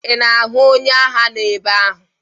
Ị na-ahụ onye agha nọ ebe ahụ?